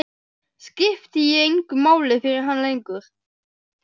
Skipti ég engu máli fyrir hann lengur?